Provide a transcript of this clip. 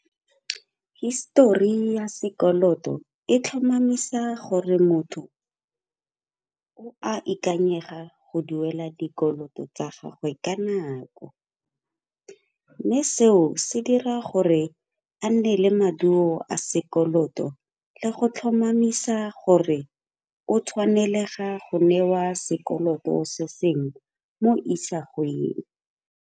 Histori ya sekoloto e tlhomamisa gore motho o a ikanyega go duela dikoloto tsa gagwe ka nako, mme seo se dira gore a nne le maduo a sekoloto le go tlhomamisa gore o tshwanelega go newa sekoloto se sengwe mo isagweng.